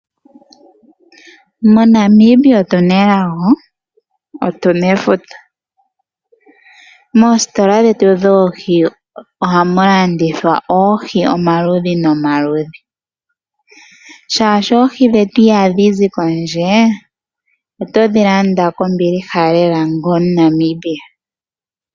MoNamibia otu na elago, oshoka otu na efuta. Moositola dhetu dhoohi ohamu landithwa oohi omaludhi nomaludhi. Molwashoka oohi dhetu ihadhi zi kondje yoshilongo, oto dhi landa kombiliha lela onga Omunamibia.